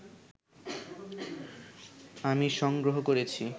আমি সংগ্রহ করেছি